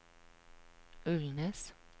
Ulnes